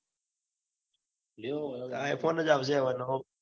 લેવો હ iPhone જ આવશે. હવે નવો.